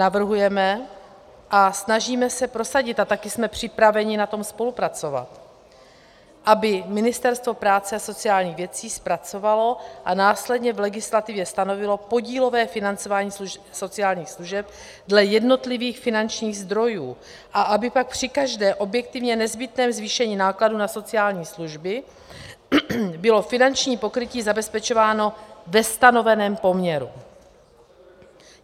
Navrhujeme a snažíme se prosadit, a také jsme připraveni na tom spolupracovat, aby Ministerstvo práce a sociálních věcí zpracovalo a následně v legislativě stanovilo podílové financování sociálních služeb dle jednotlivých finančních zdrojů a aby pak při každém objektivně nezbytném zvýšení nákladů na sociální služby bylo finanční pokrytí zabezpečováno ve stanoveném poměru.